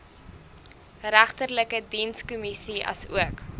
regterlike dienskommissie asook